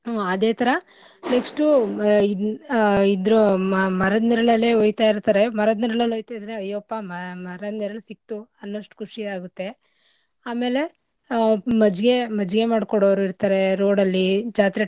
ಹಾ ಅದೇ ಥರಾ next ಉ ಆ ಇದ್ರು ಮ~ ಮರದ ನೆರಳಲ್ಲೇ ಒಯ್ತಾ ಇರ್ತಾರೆ ಮರದ ನೆರಳಲ್ಲಿ ಒಯ್ತ ಇದ್ರೆ ಅಯ್ಯಪ್ಪ ಮ~ ಮರದ ನೆರಳ್ ಸಿಕ್ತು ಅನ್ನೊಷ್ಟ್ ಖುಶಿ ಆಗುತ್ತೆ. ಆಮೇಲೆ ಆ ಮಜ್ಜಿಗೆ ಮಜ್ಜಿಗೆ ಮಾಡ್ಕೊಡೋರು ಇರ್ತರೆ road ಅಲ್ಲಿ ಜಾತ್ರೆ.